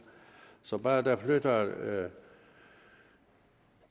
så bare der flytter